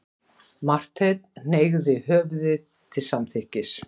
Marteinn hneigði höfðið til samþykkis.